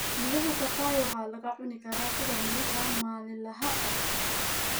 Midhaha papaya waxaa lagu cuni karaa sida miraha maalinlaha ah.